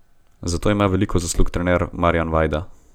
Za to ima veliko zaslug trener Marjan Vajda.